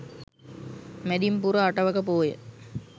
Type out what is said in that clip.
මැදින් පුර අටවක පෝය